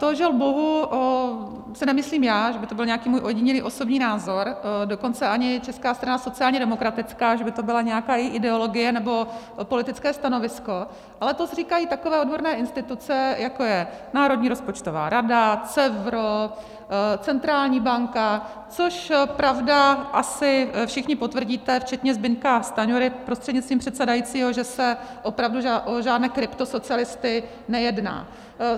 To žel bohu si nemyslím já, že by to byl nějaký můj ojedinělý osobní názor, dokonce ani Česká strana sociálně demokratická, že by to byla nějaká její ideologie nebo politické stanovisko, ale to říkají takové odborné instituce, jako je Národní rozpočtová rada, CEVRO, centrální banka, což, pravda, asi všichni potvrdíte včetně Zbyňka Stanjury prostřednictvím předsedajícího, že se opravdu o žádné kryptosocialisty nejedná.